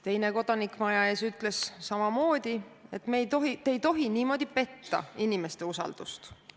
Teine kodanik maja ees ütles samamoodi, et te ei tohi niiviisi inimeste usaldust petta.